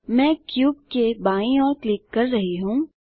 मैं क्यूब के बाईँ ओर क्लिक कर रहा हूँ